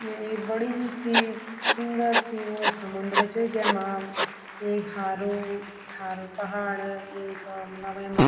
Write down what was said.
या एक बड़ी सी सुन्दर सी वो समुन्द्रा च जैमा एक हारू हारू पहाड़ एक मलब वैमा --